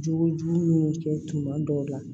Jogojugu minnu kɛ tuma dɔw la